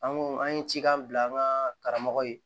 An ko an ye cikan bila an ka karamɔgɔ ye